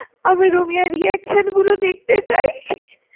আমি রুমিয়ার reaction গুলো দেখতে চাই।